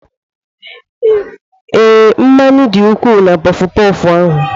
Ee, mmanụ dị ukwuu na puffu-puffu ahụ.